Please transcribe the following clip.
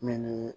Min ye